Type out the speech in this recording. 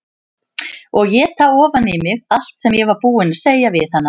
Og éta ofan í mig allt sem ég var búin að segja við hana.